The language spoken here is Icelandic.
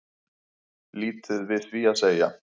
Lítið við því að segja